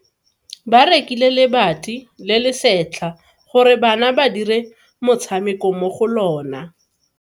Ba rekile lebati le le setlha gore bana ba dire motshameko mo go lona.